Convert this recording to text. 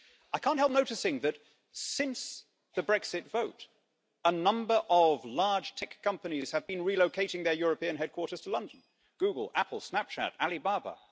I can't help noticing that, since the Brexit vote, a number of large tech companies have been relocating their European headquarters to London Google, Apple, Snapchat, Ali Baba.